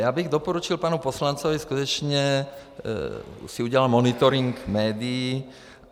Já bych doporučil panu poslanci skutečně si udělat monitoring médií.